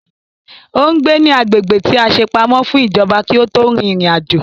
Ò ń gbé ní agbègbè tí a ṣe pamọ́ fún ìjọba kí ó tó rin ìrìn àjò